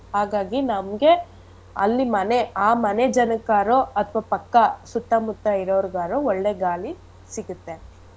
ಹಾಗಾಗಿ ನಮ್ಗೆ ಅಲ್ಲಿ ಮನೆ ಆ ಮನೆ ಜನಕ್ಕಾರು ಅಥವಾ ಪಕ್ಕ ಸುತ್ತಮುತ್ತ ಇರೋರ್ಗಾರೂ ಒಳ್ಳೆ ಗಾಳಿ ಸಿಗುತ್ತೆ.